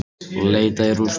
Leitað í rústunum